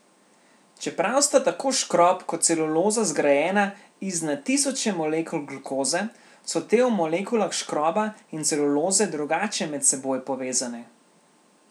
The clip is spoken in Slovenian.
Čeprav sta tako škrob kot celuloza zgrajena iz na tisoče molekul glukoze, so te v molekulah škroba in celuloze drugače med seboj povezane.